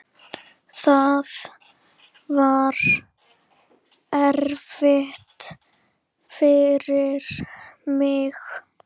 Það var erfitt fyrir mig.